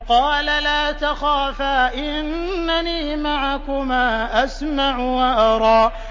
قَالَ لَا تَخَافَا ۖ إِنَّنِي مَعَكُمَا أَسْمَعُ وَأَرَىٰ